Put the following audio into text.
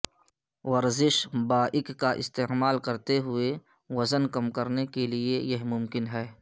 ورزش بائک کا استعمال کرتے ہوئے وزن کم کرنے کے لئے یہ ممکن ہے